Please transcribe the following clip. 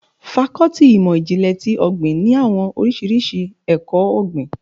Fákọ́tì ìmọ̀ ìjìnlè ti ọ̀gbìn ní àwọn oríṣiríṣi ẹkọ-ogbin.